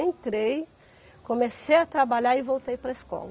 Entrei, comecei a trabalhar e voltei para a escola.